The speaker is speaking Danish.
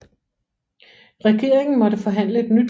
Regeringen måtte forhandle et nyt lån fra udenlandske banker